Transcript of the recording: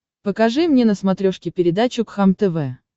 покажи мне на смотрешке передачу кхлм тв